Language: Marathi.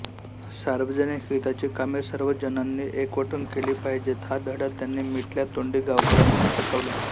सार्वजनिक हिताची कामे सर्व जनांनी एकवटून केली पाहिजेत हा धडा त्यांनी मिटल्या तोंडी गावकऱ्यांना शिकविला